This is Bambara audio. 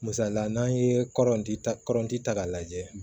Misalila n'an ye kɔrɔnti kɔrɔnti ta k'a lajɛ